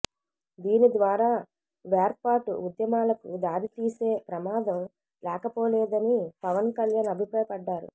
దీని ద్వారా వేర్పాటు ఉద్యమాలకు దారితీసే ప్రమాదం లేకపోలేదని పవన్ కళ్యాణ్ అభిప్రాయపడ్డారు